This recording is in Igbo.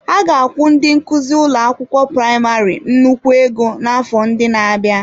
Ha ga-akwụ ndi nkuzi ụlọ akwụkwọ praịmarị nnukwu ego n'afọ ndị na-abịa.